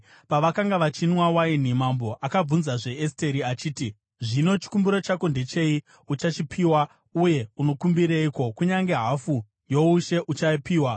Pavakanga vachinwa waini, mambo akabvunzazve Esteri achiti, “Zvino, chikumbiro chako ndechei? Uchachipiwa. Uye unokumbireiko? Kunyange hafu youshe, uchapiwa.”